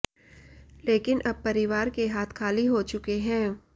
लेकिन अब परिवार के हाथ खाली हो चुके हैं